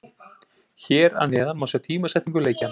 Hér að neðan má sjá tímasetningu leikjanna.